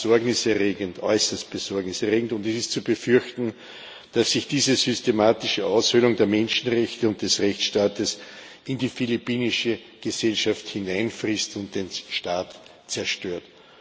Das ist besorgniserregend, äußerst besorgniserregend, und es ist zu befürchten, dass sich diese systematische Aushöhlung der Menschenrechte und des Rechtsstaates in die philippinische Gesellschaft hineinfrisst und den Staat zerstört.